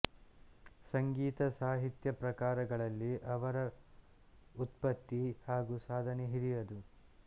ಸಂಗೀತ ಸಾಹಿತ್ಯ ಪ್ರಕಾರಗಳಲ್ಲಿ ಅವರ ವ್ಯುತ್ಪತ್ತಿ ಹಾಗೂ ಸಾಧನೆ ಹಿರಿಯದು